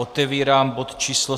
Otevírám bod číslo